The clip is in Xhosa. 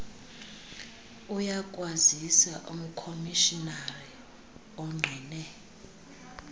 uyakwazisa umkomishinari ongqine